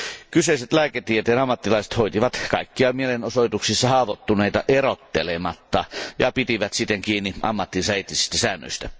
Kyseiset lääketieteen ammattilaiset hoitivat kaikkia mielenosoituksissa haavoittuneita erottelematta ja pitivät siten kiinni ammattinsa eettisistä säännöistä.